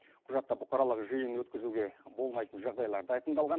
құжатта бұқаралық жиын өткізуге болмайтын жағдайлар да айқындалған